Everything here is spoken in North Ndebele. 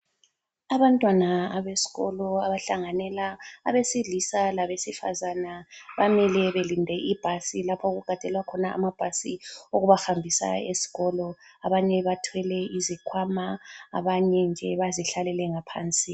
Abantwana abesikolo abahlanganela abesilisa labesifazana bamile belinde ibhasi lapho okugadelwa khona amabhasi okubahambisa esikolo. Abanye bathwele izikhwama, abanye nje bazihlalele ngaphansi.